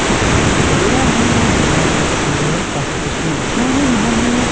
ਇੱਕ ਜਗਹਾ ਹੈ ਜਗਾ ਦੇ ਵਿੱਚ ਕਾਫੀ ਕੁਰਸੀਆਂ ਡਿੱਠੀਆਂ ਹੋਈਆਂ ਹਨ।